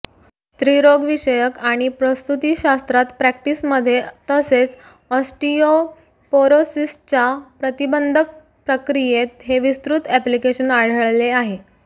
स्त्रीरोग्यविषयक आणि प्रसुतिशास्त्रात प्रॅक्टिस मध्ये तसेच ऑस्टियोपोरोसिसच्या प्रतिबंधक प्रक्रियेत हे विस्तृत ऍप्लिकेशन आढळले आहे